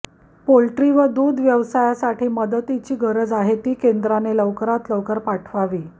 poultry व दुध व्यवसायासाठी मदतीची गरज आहे ती केंद्राने लवकरात लवकर पाठवावी